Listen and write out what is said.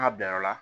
Ka bɛn yɔrɔ la